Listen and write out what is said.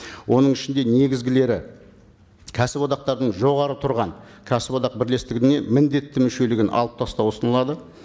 оның ішінде негізгілері кәсіподақтардың жоғары тұрған кәсіподақ бірлестігіне міндетті мүшелігін алып тастау ұсынылады